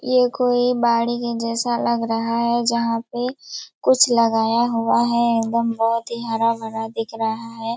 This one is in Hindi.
ये कोई बाड़ी के जैसा लग रहा है जहाँ पे कुछ लगाया हुआ है एकदम बहोत ही हरा-भरा दिख रहा है।